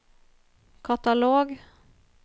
katalog